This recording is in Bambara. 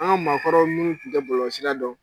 An ka maakɔrɔ minnu tun tɛ bɔlɔlɔsira dɔn